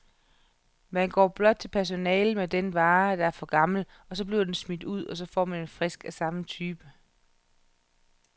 Man går blot til personalet med den vare, der er for gammel, så bliver den smidt ud, og man får en frisk af samme type.